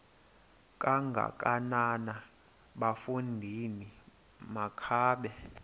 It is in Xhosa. kangakanana bafondini makabe